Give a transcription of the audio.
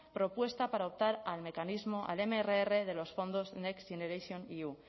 propuesta para optar al mecanismo al mrr de los fondos next generationeu